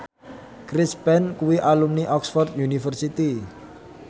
Chris Pane kuwi alumni Oxford university